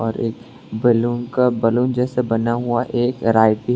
और एक बैलून का बैलून जैसा बना हुआ एक वैरायटी है।